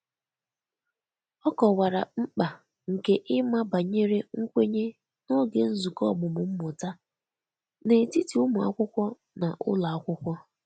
O kọwara mkpa nke ịma banyere nkwenye n'oge nzukọ ọmụmụ mmụta n'etiti ụmụ akwụkwo na ụlọ akwụkwọ